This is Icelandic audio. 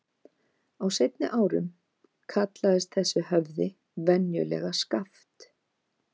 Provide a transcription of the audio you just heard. Á seinni árum kallaðist þessi höfði venjulega Skaft.